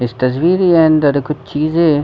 इस तस्वीर के अंदर कुछ चीजें --